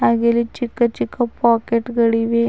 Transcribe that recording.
ಹಾಗೆ ಇಲ್ಲಿ ಚಿಕ್ಕ ಚಿಕ್ಕ ಪಾಕೆಟ್ ಗಳಿವೆ.